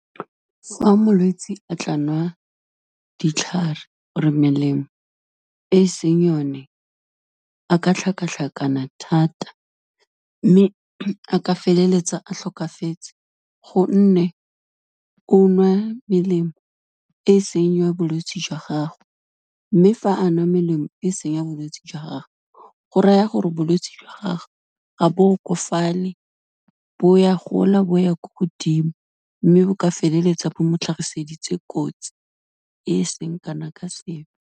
Fa molwetsi a tla nwa ditlhare or-e melemo e seng yone, a ka tlhakatlhakana thata mme, a ka feleletsa a tlhokafetse gonne o nwa melemo e seng ya bolwetsi jwa gagwe mme fa a nwa melemo e seng ya bolwetsi jwa gagwe, go raya gore bolwetsi jwa gagwe ga bo okafale, bo ya gola, bo ya ko godimo mme bo ka feleletsa bo mo tlhagiseditse kotsi, e seng kana ka sepe.